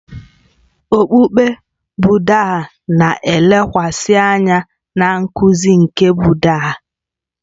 Okpukpe Bụddha na-elekwasị anya na nkuzi nke Bụddha